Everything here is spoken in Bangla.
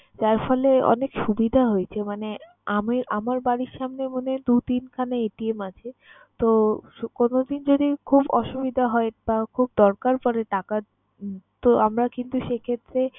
যার ফলে অনেক সুবিধা হয়েছে মানে আমি~ আমার বাড়ির সামনে মানে দু তিনখানা আছে। তো, শুক্রবার দিন যদি খুব অসুবিধা হয় তাও খুব দরকার পরে টাকার তো আমরা কিন্তু সে ক্ষেত্রে